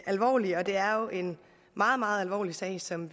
alvorlige og det er jo en meget meget alvorlig sag som